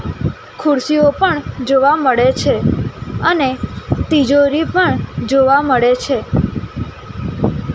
ખુરસીઓ પણ જોવા મળે છે અને તિજોરી પણ જોવા મળે છે .